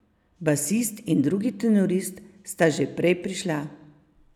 Basist in drugi tenorist sta že prej prišla.